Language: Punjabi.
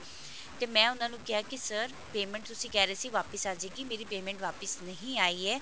ਤੇ ਮੈਂ ਉਹਨਾ ਨੂੰ ਕਿਹਾ ਕਿ sir payment ਤੁਸੀਂ ਕਹਿ ਰਹੇ ਸੀ ਕਿ ਵਾਪਿਸ ਆ ਜਾਏਗੀ ਮੇਰੀ payment ਵਾਪਿਸ ਨਹੀਂ ਆਈ ਏ